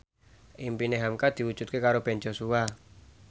impine hamka diwujudke karo Ben Joshua